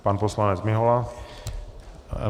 Pan poslanec Mihola.